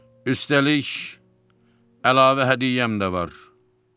Üstəlik əlavə hədiyyəm də var.